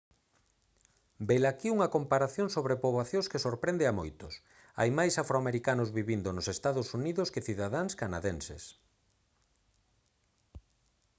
velaquí unha comparación sobre poboacións que sorprende a moitos hai máis afroamericanos vivindo nos ee uu que cidadáns canadenses